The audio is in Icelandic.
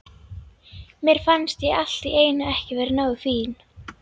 Mér fannst ég allt í einu ekki vera nógu fín.